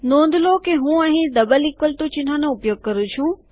નોંધ લો હું અહીં ડબલ ઇકવલ ટુ ચિહ્નનો ઉપયોગ કરું છું